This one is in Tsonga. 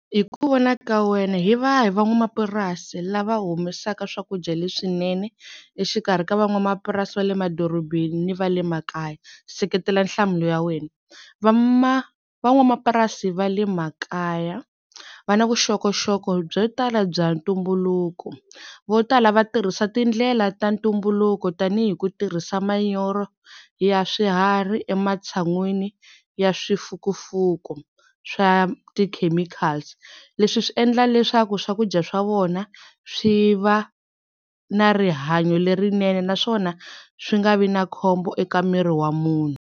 Hi ku vona ka wena hi vahi van'wamapurasi lava humesaka swakudya leswinene exikarhi ka van'wamapurasi va le madorobeni va le makaya? Seketela nhlamulo ya wena va van'wamapurasi va le makaya va na vuxokoxoko byo tala bya ntumbuluko vo tala va tirhisa tindlela ta ntumbuluko tanihi ku tirhisa manyoro ya swiharhi ematshan'wini ya swifukufuk swa ti-chemicals leswi swi endla leswaku swakudya swa vona swi va na rihanyo lerinene naswona swi nga vi na khombo eka miri wa munhu.